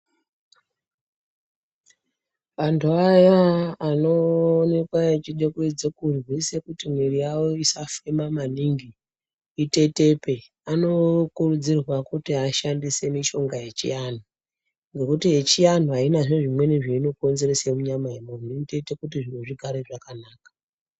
Antu aya anoonekwa echide kuedze kurwise kuti mwiri yawo isafema maningi itetepe anokurudzirwa kuti ashandise mishonga yechiantu nekuti yechiantu aina zviro zvimweni zveinokonzeresa munyama yemuntu inotoite kuti zviro zvigare zvakanaka.